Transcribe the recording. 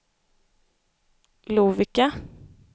Lovikka